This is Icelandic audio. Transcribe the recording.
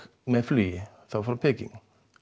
flug frá Peking